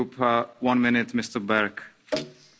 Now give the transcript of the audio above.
Herr Präsident, sehr geehrte Hohe Vertreterin!